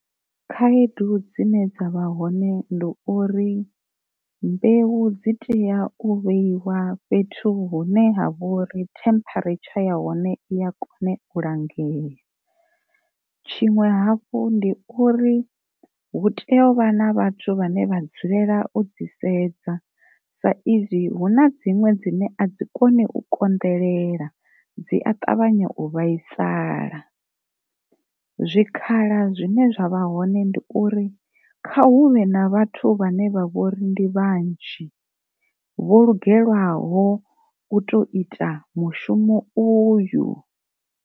Khaedu dzine dzavha hone ndi uri mbeu dzi teya u vheyiwa fhethu hune ha vhori temperature ya hone i ya kone u langea, tshiṅwe hafhu ndi uri hu tea u vha na vhathu vhane vha dzulela u dzi sedza sa izwi hu na dziṅwe dzine a dzi koni u konḓelela dzi a ṱavhanya u vhaisala. Zwikhala zwine zwa vha hoṋe ndi uri kha huvhe na vhathu vhane vha vhori ndi vhanzhi vho lugelaho u to ita mushumo uyu.